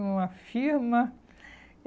Uma firma.